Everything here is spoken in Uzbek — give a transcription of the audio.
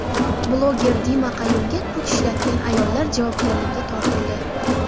Bloger Dima Qayumga kuch ishlatgan ayollar javobgarlikka tortildi.